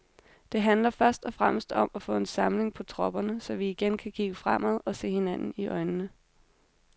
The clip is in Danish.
Det handler først og fremmest om at få samling på tropperne, så vi igen kan kigge fremad og se hinanden i øjnene.